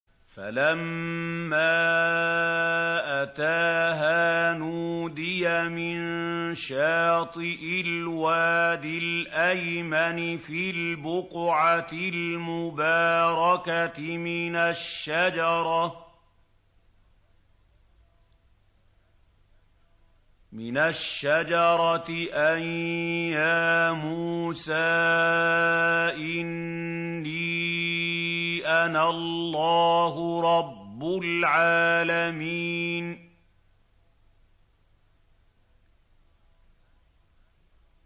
فَلَمَّا أَتَاهَا نُودِيَ مِن شَاطِئِ الْوَادِ الْأَيْمَنِ فِي الْبُقْعَةِ الْمُبَارَكَةِ مِنَ الشَّجَرَةِ أَن يَا مُوسَىٰ إِنِّي أَنَا اللَّهُ رَبُّ الْعَالَمِينَ